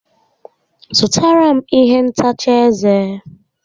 Zụtara m ihe ntacha ezé